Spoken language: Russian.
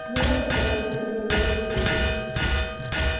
змея которую мы пригрели на груди